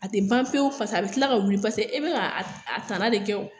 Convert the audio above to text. A te ban pewu paseke a be kila ka wuli paseke e bi ka tana de kɛ wo.